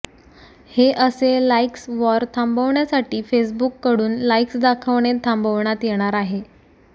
हे असे likes war थांबविण्यासाठी फेसबुककडून लाईक्स दाखवणे थांबविण्यात येणार आहे